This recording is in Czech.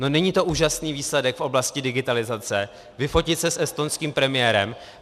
No není to úžasný výsledek v oblasti digitalizace, vyfotit se s estonským premiérem?